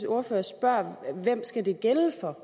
ordfører spørger hvem skal det gælde for